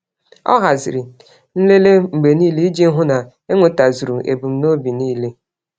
Ọ haziri nlele mgbe niile iji hụ na enwetazuru ebum nobi nile